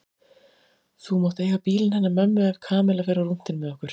Þú mátt eiga bílinn hennar mömmu ef Kamilla fer á rúntinn með okkur